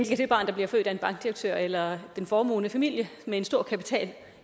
kan det barn der bliver født af en bankdirektør eller en formuende familie med en stor kapital